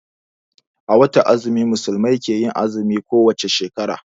A watan azumi musulmai ke yin azumi ko wace shekara